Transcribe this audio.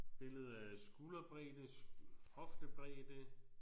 Billede af skulderbredde hoftebredde